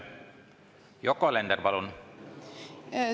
Yoko Alender, palun!